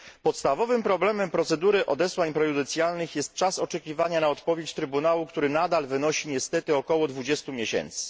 Podstawowym problemem procedury odesłań prejudycjalnych jest czas oczekiwania na odpowiedź Trybunału, który nadal wynosi niestety około 20 miesięcy.